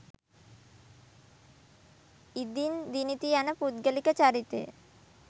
ඉදින් දිනිති යන පුද්ගලික චරිතය